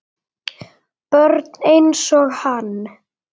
Börn einsog hann.